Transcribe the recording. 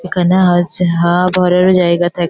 এখানে হাসছে হা হাওয়া ভরার ও জায়গা থাক --